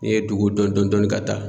N'i ye dugu dɔn dɔn dɔɔni ka taa